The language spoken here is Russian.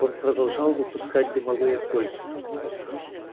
он продолжал выпускать дымовые кольца